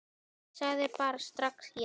Ég sagði bara strax já.